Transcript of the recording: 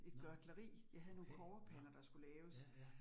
Nåh okay nåh, ja, ja